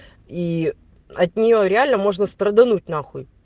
и от нее реально можно спрадануть нахуй